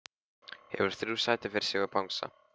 Hefur þrjú sæti fyrir sig og bangsa.